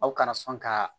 Aw kana sɔn ka